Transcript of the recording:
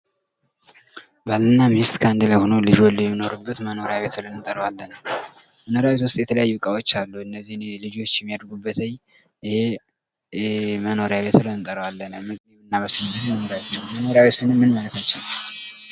ባልና ሚስት ከአንድ ላይ ሆነው ልጅ ወልደው የሚኖሩበት መኖርያ ቤት ብለን እንጠራዋለን ፤ መኖሪያ ቤት ውስጥ የተለያዩ እቃዎች አሉ እነዚህ ህጻናቶች የሚያድጉበት መኖሪያ ቤት ብለን እንጠራዋለን። መኖሪያ ቤት ስንል ምን ማለትችን ነው?